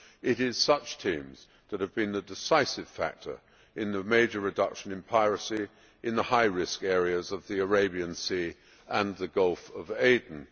It is such teams that have been the decisive factor in the major reduction in piracy in the high risk areas of the Arabian Sea and the Gulf of Aden.